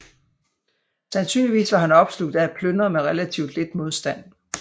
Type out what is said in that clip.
Sandsynligvis var han opslugt af at plyndre med relativt lidt modstand